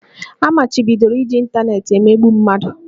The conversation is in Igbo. A machibidoro iji ịntanetị emegbu mmadụ